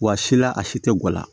Wa sila a si tɛ guwan la